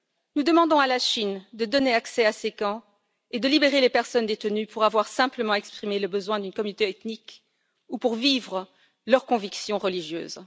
Nous demandons à la Chine de donner accès à ces camps et de libérer les personnes détenues pour avoir simplement exprimé le besoin d'une communauté ethnique ou parce qu'ils vivent leur conviction religieuse.